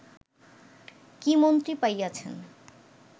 কি মন্ত্রী পাইয়াছেন